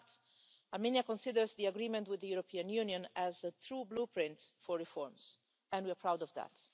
In fact, Armenia considers the agreement with the European Union as a true blueprint for reforms and we are proud of that.